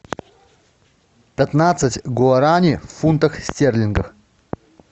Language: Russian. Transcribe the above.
пятнадцать гуарани в фунтах стерлингах